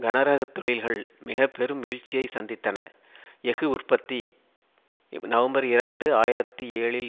கனரக தொழில்கள் மிக பெரும் வீழ்ச்சியை சந்தித்தன எஃகு உற்பத்தி நவம்பர் இரண்டு ஆயிரத்தி ஏழில்